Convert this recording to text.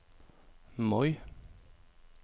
Moi